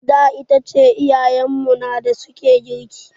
Da itace iyayen mu na da suke girki.